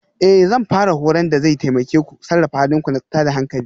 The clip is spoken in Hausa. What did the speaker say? Ee Zan fara horon da zai taimake ku sarrafa halin ku na tada hankali